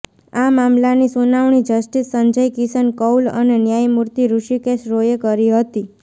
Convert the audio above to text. આ મામલાની સુનાવણી જસ્ટિસ સંજય કિશન કૌલ અને ન્યાયમૂર્તિ ઋષિકેશ રોયે કરી હતી